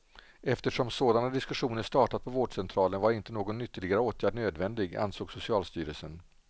Eftersom sådana diskussioner startat på vårdcentralen var inte någon ytterligare åtgärd nödvändig, ansåg socialstyrelsen.